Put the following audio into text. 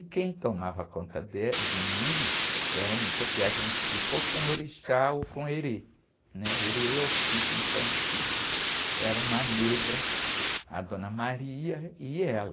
E quem tomava conta dé, de mim, era um, porque a gente fica ou com o orixá ou com o erê, né? O erê é o espírito infantil, era uma negra, a dona e ela.